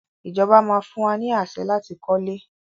Ìjọba máa fún wa ni àṣẹ láti kọ́lé.